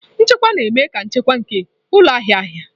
Nchekwa na-eme ka nchekwa nke ụlọ ahịa ahịa.